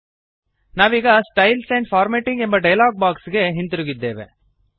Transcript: ನಾವೀಗ styles and formatting ಎಂಬ dialog box ಗೆ ಹಿಂತಿರುಗಿದ್ದೇವೆ